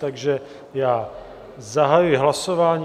Takže já zahajuji hlasování.